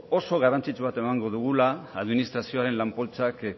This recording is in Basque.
oso garrantzitsua emango dugula administrazioaren lan poltsak